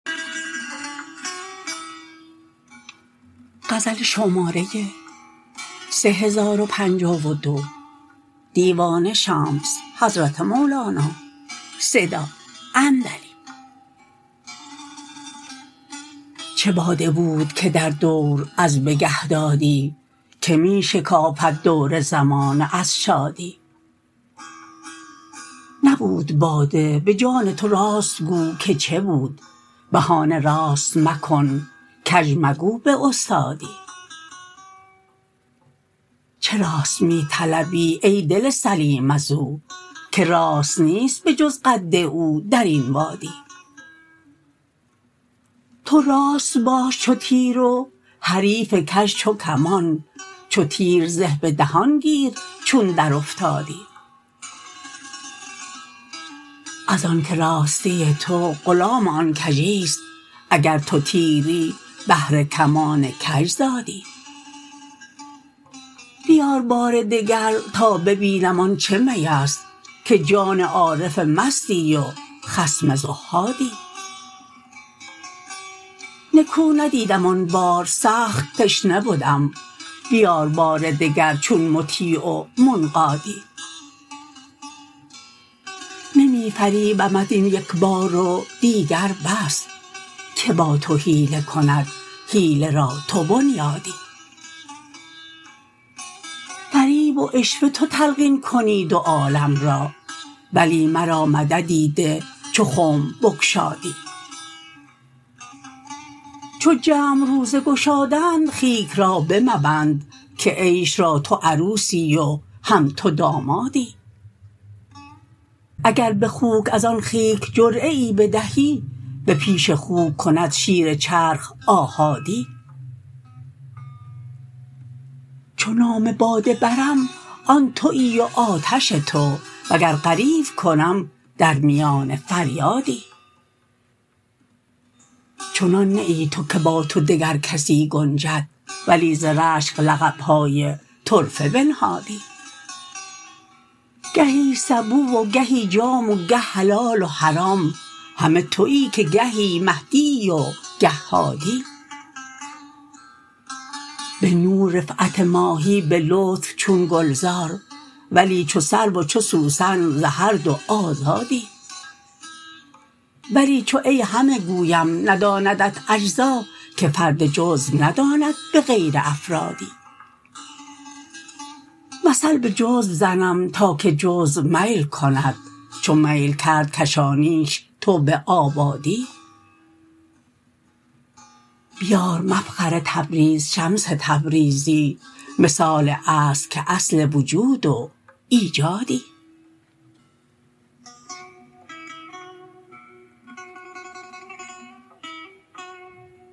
چه باده بود که در دور از بگه دادی که می شکافد دور زمانه از شادی نبود باده به جان تو راست گو که چه بود بهانه راست مکن کژ مگو به استادی چه راست می طلبی ای دل سلیم از او که راست نیست به جز قد او در این وادی تو راست باش چو تیر و حریف کژ چو کمان چو تیر زه به دهان گیر چون درافتادی ازانک راستی تو غلام آن کژی است اگر تو تیری بهر کمان کژ زادی بیار بار دگر تا ببینم آن چه می است که جان عارف مستی و خصم زهادی نکو ندیدم آن بار سخت تشنه بدم بیار بار دگر چون مطیع و منقادی نمی فریبمت این یک بیار و دیگر بس کی با تو حیله کند حیله را تو بنیادی فریب و عشوه تو تلقین کنی دو عالم را ولی مرا مددی ده چو خنب بگشادی چو جمع روزه گشادند خیک را بمبند که عیش را تو عروسی و هم تو دامادی اگر به خوک از آن خیک جرعه ای بدهی به پیش خوک کند شیر چرخ آحادی چو نام باده برم آن توی و آتش تو وگر غریو کنم در میان فریادی چنان نه ای تو که با تو دگر کسی گنجد ولی ز رشک لقب های طرفه بنهادی گهی سبو و گهی جام و گه حلال و حرام همه توی که گهی مهدیی و گه هادی به نور رفعت ماهی به لطف چون گلزار ولی چو سرو و چو سوسن ز هر دو آزادی ولی چو ای همه گویم نداندت اجزا که فرد جزو نداند به غیر افرادی مثل به جزو زنم تا که جزو میل کند چو میل کرد کشانیش تو به آبادی بیار مفخر تبریز شمس تبریزی مثال اصل که اصل وجود و ایجادی